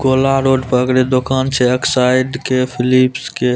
कोला road पर दूकान छे एकसाइड के फिलिप्स के।